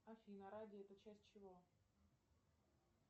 афина радий это часть чего